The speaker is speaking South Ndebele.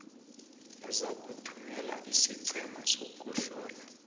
uzakuthumela isiqhema sokuhlola